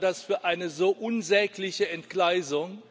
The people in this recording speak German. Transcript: Ich halte das für eine so unsägliche Entgleisung!